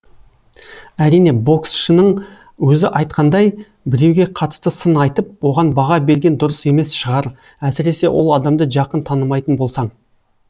әрине боксшының өзі айтқандай біреуге қатысты сын айтып оған баға берген дұрыс емес шығар әсіресе ол адамды жақын танымайтын болсаң